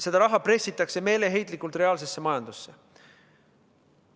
Seda raha pressitakse meeleheitlikult reaalsesse majandusse.